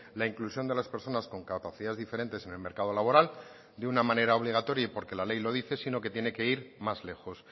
la inclusión de las personas con capacidades diferentes en el mercado laboral de una manera obligatoria y porque la ley lo dice sino que tiene que ir más lejos